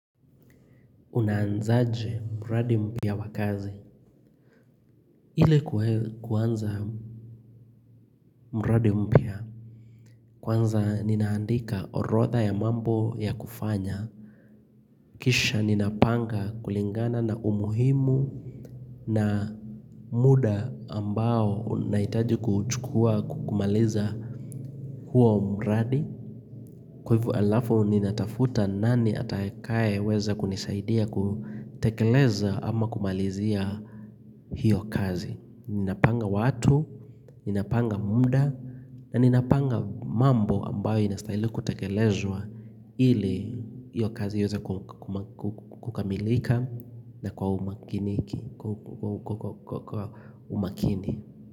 Unaanzaje mradi mpya wa kazi? Ile kuanza mradi mpya. Kwanza ninaandika orodha ya mambo ya kufanya. Kisha ninapanga kulingana na umuhimu na muda ambao unahitaji kuchukua kumaliza huo mradi. Kwa hivo alafu ninatafuta nani atakaeweza kunisaidia kutekeleza ama kumalizia hiyo kazi. Ninapanga watu, ninapanga muda, na ninapanga mambo ambayo inastahili kutekelezwa ili iyo kazi iweze kukamilika na kwa umakini.